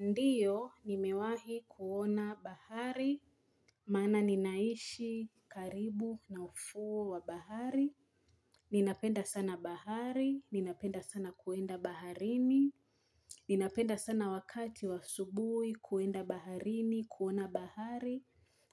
Ndiyo, nimewahi kuona bahari, maana ninaishi karibu na ufuo wa bahari, ninapenda sana bahari, ninapenda sana kuenda baharini, ninapenda sana wakati wa subui kuenda baharini, kuona bahari,